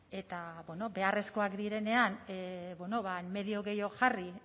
eta beharrezkoak direnean medio gehiago jarri